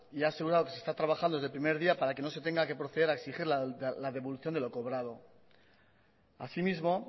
y ha asegurado que se está trabajando desde el primer día para que no se tenga que proceder a exigir la devolución de lo cobrado asimismo